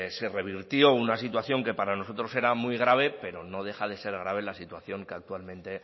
se revirtió una situación que para nosotros era muy grave pero no deja de ser grave la situación que actualmente